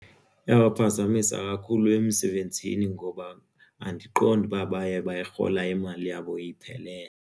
Iyabaphazamisa kakhulu emsebenzini ngoba andiqondi uba baye bayirhola imali yabo iphelele.